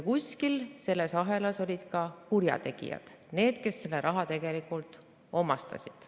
Kuskil selles ahelas olid ka kurjategijad, need, kes selle raha tegelikult omastasid.